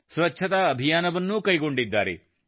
ಸ್ವಚ್ಛತಾ ಅಭಿಯಾನವನ್ನೂ ಕೈಗೊಂಡಿದ್ದಾರೆ